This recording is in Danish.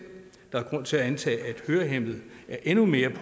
der er grund til at antage at hørehæmmede er endnu mere